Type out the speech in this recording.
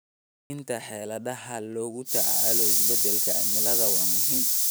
Dejinta xeeladaha lagula tacaalayo isbeddelka cimilada waa muhiim.